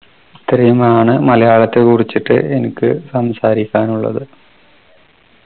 ഇത്രയുമാണ് മലയാളത്തെകുറിച്ചിട്ട് എനിക്ക് സംസാരിക്കാനുള്ളത്